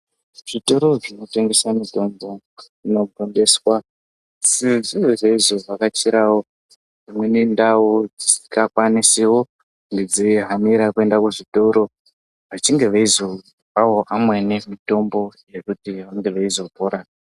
Zvitoro zvinotengesa mitombo zvinogondeswa sezvowo zveizovhakachirawo dzimweni ndau dzisingakwanisiwo kunge dzeihanira kuenda kuzvitoro vachinge veizopawo vamweni mitombo yekuti vange veizopora.